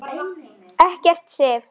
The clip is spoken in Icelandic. Ekki Sif.